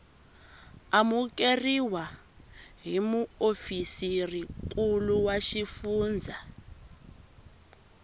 amukeriwa hi muofisirinkulu wa xifundzha